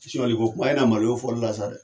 Soɲɛliko kuma e na maloya o fɔlila sa dɛ